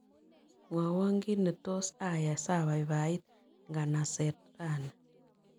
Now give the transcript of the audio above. Mwawon kiit ne tos' ayai sabaibaiit inganaseet raini